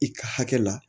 I ka hakɛ la